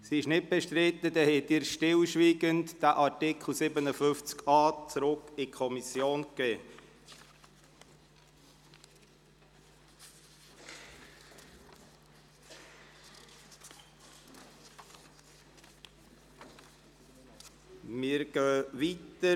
– Das scheint nicht der Fall zu sein, somit haben Sie stillschweigend entschieden, den Artikel 57a (neu) an die Kommission zurückzuweisen.